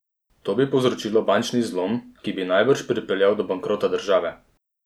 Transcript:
To bi povzročilo bančni zlom, ki bi najbrž pripeljal do bankrota države.